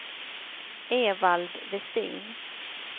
Evald Westin